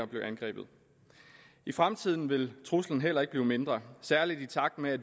blev angrebet i fremtiden vil truslen heller ikke blive mindre særlig i takt med at